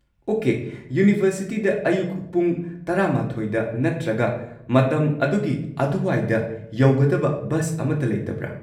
Okay, ꯌꯨꯅꯤꯚꯔꯁꯤꯇꯤꯗ ꯑꯌꯨꯛ ꯄꯨꯡ ꯱꯱ꯗ ꯅꯠꯇ꯭ꯔꯒ ꯃꯇꯝ ꯑꯗꯨꯒꯤ ꯑꯗꯨꯋꯥꯏꯗ ꯌꯧꯒꯗꯕ ꯕꯁ ꯑꯃꯠꯇ ꯂꯩꯇꯕ꯭ꯔꯥ?